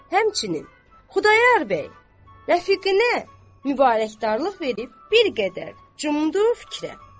Həmçinin, Xudayar bəy rəfiqinə mübarəkdarlıq verib bir qədər cümdü fikrə.